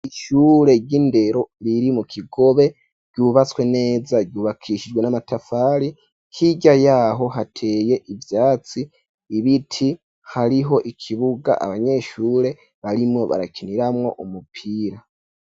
Ishure ry'indero riri mu kigobe ryubatswe neza ryubakishijwe n'amatafari hirya yaho hateye ivyatsi ibiti hariho ikibuga abanyeshure barimo barakiniramwo umupira.